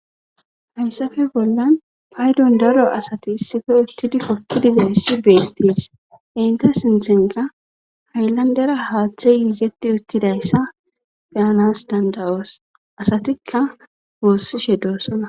hayssafe bollan paydon daro asati issife uttidi hoki dizayias beettes inta sinthenka haylandera haaththe yigeti uttidayssa beyanas dandawoos asatikka woossishe doosona